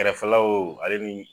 Kɛrɛfɛlaw ale mi